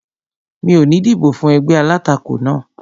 Mi ò ní dìbò fún ẹgbẹ́ alátakò náà